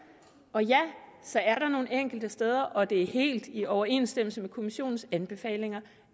og ja så er der nogle enkelte steder og det er helt i overensstemmelse med kommissionens anbefalinger